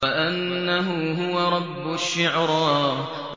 وَأَنَّهُ هُوَ رَبُّ الشِّعْرَىٰ